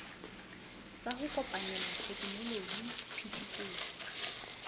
sa ho kopanela tekenoloji phetisetso